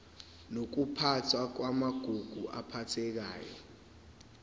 nokuphathwa kwamagugu aphathekayo